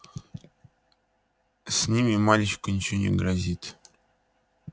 с ними мальчику ничего не грозит